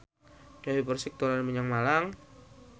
Dewi Persik dolan menyang Malang